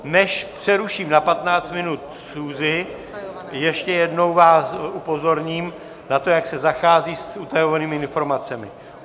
Než přeruším na 15 minut schůzi, ještě jednou vás upozorním na to, jak se zachází s utajovanými informacemi.